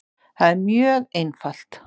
Það er mjög einfalt